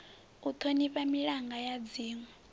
u thonifha milanga ya dzinwe